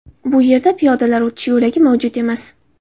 Bu yerda piyodalar o‘tish yo‘lagi mavjud emas.